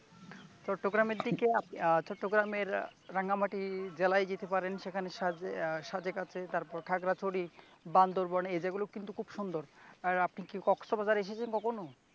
চট্টগ্রামের দিকে আপনি চট্টগ্রামের রাঙ্গামাটির জেলায় যেতে পারেন সেখানে সাজকে আছে, তারপর খাগড়াছড়ি, বান্দরবান, এ জায়গাগুলো কিন্তু খুব সুন্দর আপনি কি কক্সবাজারে গিয়েছেন কখনো ।